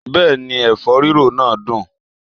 Bẹ́ẹ̀ni, ẹ̀fọ́ rírò náà dùn